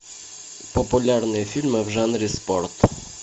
популярные фильмы в жанре спорт